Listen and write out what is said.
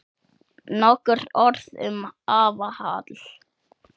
Nokkur orð um afa Hall.